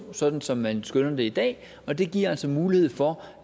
sådan som man skønner det i dag og det giver altså mulighed for